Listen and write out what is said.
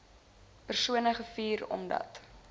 persone gevuur omdat